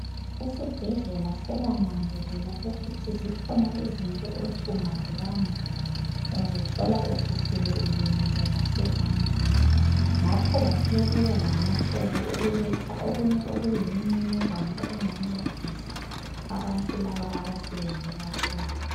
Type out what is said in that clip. Esibhedlela sebananzelela ukuthi zikhona izinto othi ungazi bamba uzothola ususele usulimele ngasezandleni ngakho basebebuya lamacebo okuletha okunye okuyimininingwane okungancedisa abantu laba abasebenzela khona.